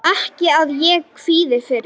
Ekki að ég kvíði fyrir.